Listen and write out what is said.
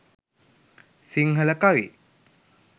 sinhala kavi